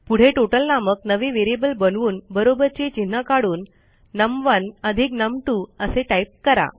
पुढे टोटल नामक नवे व्हेरिएबल बनवून बरोबरचे चिन्ह काढून नम1 अधिक नम2 असे टाईप करा